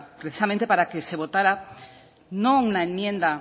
precisamente para que se votara no una enmienda